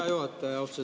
Hea juhataja!